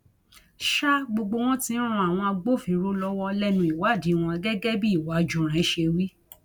sa gbogbo wọn tí ń ran àwọn agbófinró lọwọ lẹnu ìwádìí wọn gẹgẹ bí cs] uwájúrẹn ṣe wí